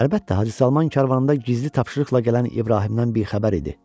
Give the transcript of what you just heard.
Əlbəttə, Hacı Salman karvanında gizli tapşırıqla gələn İbrahimdən bixəbər idi.